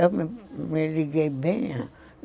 Eu me liguei bem.